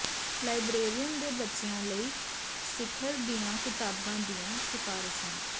librarian ਦੇ ਬੱਚਿਆਂ ਲਈ ਸਿਖਰ ਦੀਆਂ ਕਿਤਾਬਾਂ ਦੀਆਂ ਸਿਫ਼ਾਰਿਸ਼ਾਂ